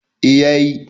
eh ya yi